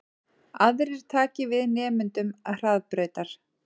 Aðrir taki við nemendum Hraðbrautar